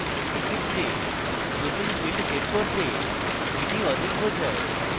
এক্ষেত্রে নতুন field set করতে এটি অধিক বোঝায়